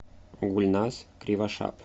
гульназ кривошап